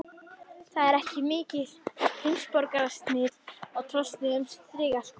Það var heldur ekki mikið heimsborgarasnið á trosnuðum strigaskónum.